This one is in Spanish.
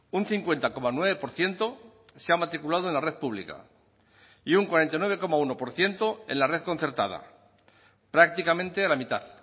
un cincuenta coma nueve por ciento se ha matriculado en la red pública y un cuarenta y nueve coma uno por ciento en la red concertada prácticamente la mitad